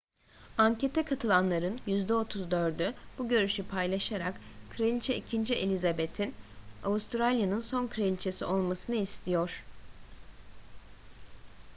ankete katılanların yüzde 34'ü bu görüşü paylaşarak kraliçe ii elizabeth'in avustralya'nın son kraliçesi olmasını istiyor